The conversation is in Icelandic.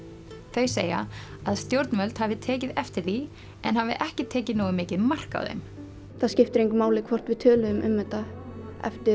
þau segja að stjórnvöld hafi tekið eftir því en hafi ekki tekið nógu mikið mark á þeim það skiptir engu máli hvort við tölum um þetta eftir